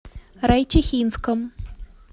райчихинском